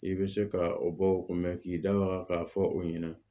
I bɛ se ka o bɔ o kun bɛ k'i da waga k'a fɔ o ɲɛna